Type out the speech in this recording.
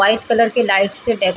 white colour के light से डेको --